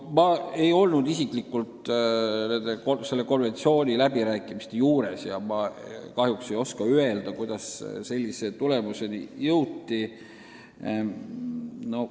Ma ise ei olnud selle konventsiooni läbirääkimiste juures, nii et kahjuks ei oska öelda, kuidas sellise tulemuseni jõuti.